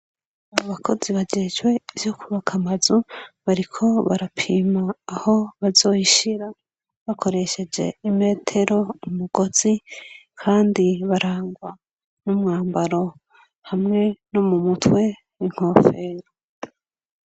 Abakozi bajejwe ivyo kubaka amazu barko barapima aho bazoyshira bakoresheje imetero, umugozi, kandi barangwa n'umwambaro hamwe no mu mutwe inkofero.